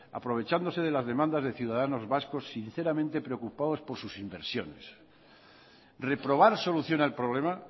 aprovechándose de las demandas de ciudadanos vascos sinceramente preocupados por sus inversiones reprobar solución al problema